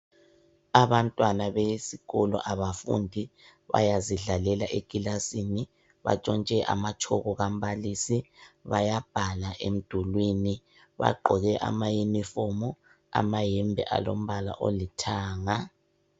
Abantwana besikolo abafundi bayazidlalela ekilasini batshontshe amatshoko kaMbalisi bayabhala emdulwini bagqoke ama uniformu amayembe alombala olithanga.